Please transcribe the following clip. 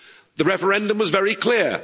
The referendum was very clear.